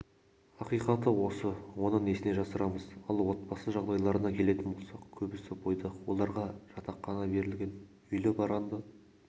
ақиқаты осы оны несіне жасырамыз ал отбасы жағдайларына келетін болсақ көбісі бойдақ оларға жатақхана берілген үйлі-баранды